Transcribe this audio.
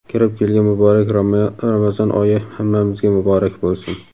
Kirib kelgan muborak Ramazon oyi hammamizga muborak boʼlsin!.